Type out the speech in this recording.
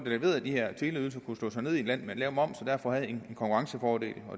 leverede de her teleydelser kunne slå sig ned i et land med lav moms og derfor havde en konkurrencefordel